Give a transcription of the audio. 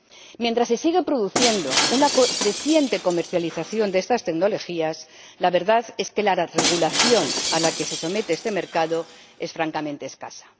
Se está produciendo una creciente comercialización de estas tecnologías, pero la verdad es que la regulación a la que se somete este mercado es francamente escasa.